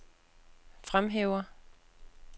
fremhæver